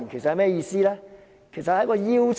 主席，那其實是一個邀請。